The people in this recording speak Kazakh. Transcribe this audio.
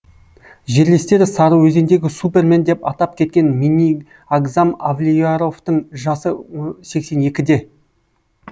жерлестері сарыөзендегі супермен деп атап кеткен минниагзам авлияровтың жасы сексен екіде